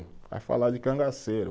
Vai falar de cangaceiro.